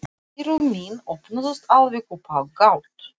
Eyru mín opnuðust alveg upp á gátt.